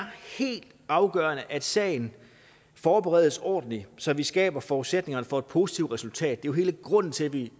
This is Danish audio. helt afgørende at sagen forberedes ordentligt så vi skaber forudsætningerne for et positivt resultat hele grunden til at vi